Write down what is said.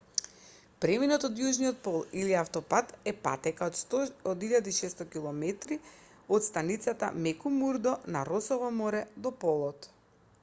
преминот до јужниот пол или автопат е патека од 1600 km од станицата мекмурдо на росово море до полот